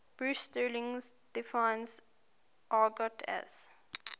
bruce sterling defines argot as